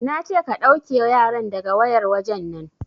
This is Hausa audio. Nace ka ɗauke yaran daga wayar wajen nan!